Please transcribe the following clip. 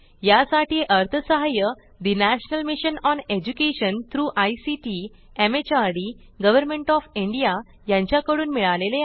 यासाठी अर्थसहाय्य national mission on education through ICT MHRD government O F India यांच्याकडून मिळालेले आहे